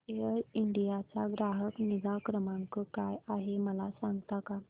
air India चा ग्राहक निगा क्रमांक काय आहे मला सांगता का